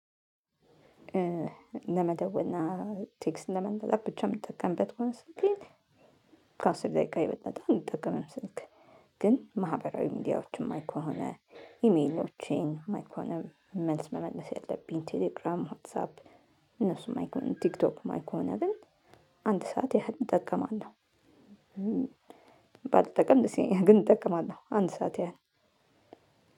ለመደወልና ቴክስት ለመመላላክ ብቻ የምጠቀምበት ከሆነ ስልኬን ከአስር ደቂቃ የበለጠ አልጠቅምም ስልክ ግን ማህበራዊ ሚዲያዎችን የማይ ከሆነ ኢሜሎቼን ማይ ከሆነ መልስ መመለስ ያለብኝ ቴሌግራም ዋትሳፕ እነሱም ማይ ከሆነ ቲክቶክ ማይ ከሆነም አንድ ሰዓት ያህል እጠቀማለሁ። ያህል እጠቀማለሁ። ባልጠቀም ግን እጠቀማለሁ አንድ ሰዓት ያህል